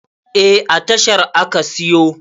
Eh, a tashar aka siyo